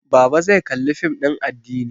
Baba zai Kalli fim din addini